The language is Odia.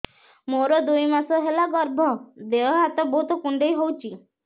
ମୋର ଦୁଇ ମାସ ହେଲା ଗର୍ଭ ଦେହ ହାତ ବହୁତ କୁଣ୍ଡାଇ ହଉଚି